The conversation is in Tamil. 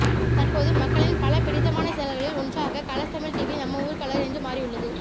தற்போது மக்களின் பல பிடித்தமான சேனல்களில் ஒன்றாக கலர்ஸ் தமிழ் டிவி நம்ம ஊரு கலரு என்று மாறியுள்ளது